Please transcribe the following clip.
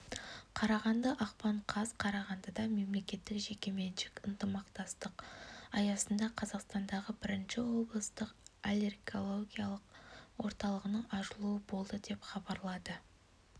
қарағанды ақпан қаз қарағандыда мемлекеттік-жекеменшік ынтымақтастық аясында қазақстандағы бірінші облыстық аллергологиялық орталығының ашылуы болды деп хабарлады